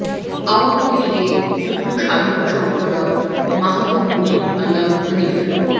আওয়ামী লীগের যুগ্ম সাধারণ সম্পাদক মাহবুব উল আলম হানিফ